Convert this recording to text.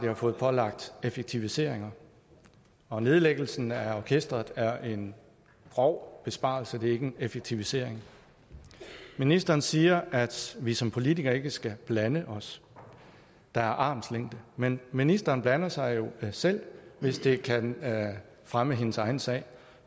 har fået pålagt effektiviseringer og nedlæggelsen af orkestret er en grov besparelse det er ikke en effektivisering ministeren siger at vi som politikere ikke skal blande os der er armslængde men ministeren blander sig jo selv hvis det kan fremme hendes egen sag